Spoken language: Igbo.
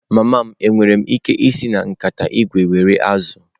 Mama m, enwere m ike isi na nkata ígwè were azụ̀?